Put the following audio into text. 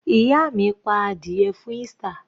Ìyá mi pa adìẹ fún Easter.